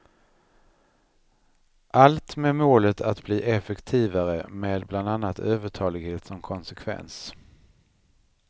Allt med målet att bli effektivare, med bland annat övertalighet som konsekvens.